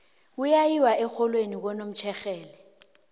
kuya yiwa erholweni kwanomtjhexhela